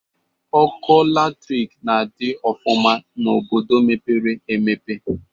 Ọkụ latrịk na-adị ọfụma n'obodo mepere emepe.